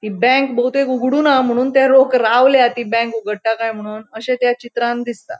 हि बैंक बहुतेक उघडूना म्हुणुन ते लोक रावल्या ती बँक उघडटा काय म्हुणुन अशे त्या चित्रांन दिसता.